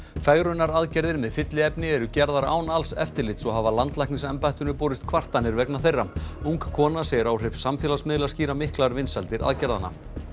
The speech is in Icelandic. fegrunaraðgerðir með fylliefni eru gerðar án alls eftirlits og hafa landlæknisembættinu borist kvartanir vegna þeirra ung kona segir áhrif samfélagsmiðla skýra miklar vinsældir aðgerðanna